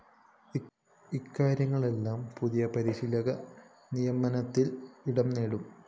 ഇക്കാര്യങ്ങളെല്ലാം പുതിയ പരിശീലക നിയമനത്തില്‍ ഇടംനേടും